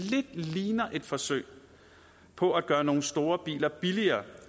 ligner et forsøg på at gøre nogle store biler billigere